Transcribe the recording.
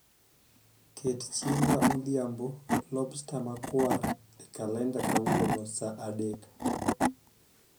ket chiemba modhiambo lobster makwar e kalenda kawuono saa adek